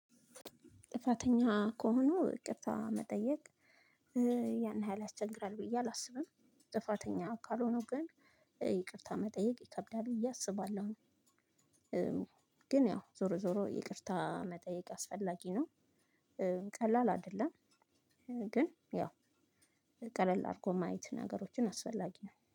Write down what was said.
ጥፋተኛ ከሆኑ ይቅርታ መጠየቅ ያን ሀይል ያስቸግራል ብዬ አላስብም። ጥፋተኛ ካልሆኑ ግን ይቅርታ መጠየቅ ይከብዳል እያሰባለሁኝ። ግን ያው ዞሮ ዞሮ ይቅርታ መጠየቅ አስፈላጊ ነው። ቀላል አይደለም። ግን ያው ቀለል አድርጎ ማየት ነገሮችን አስፈላጊ ነው